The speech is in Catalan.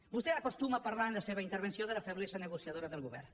vostè acostuma a parlar en la seva intervenció de la feblesa negociadora del govern